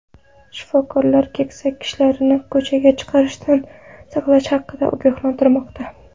Shifokorlar keksa kishilarni ko‘chaga chiqishdan saqlash haqida ogohlantirmoqda.